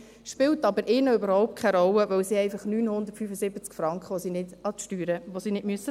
Das spielt für sie aber überhaupt keine Rolle, weil es einfach 975 Franken sind, die sie nicht an Steuern bezahlen müssen.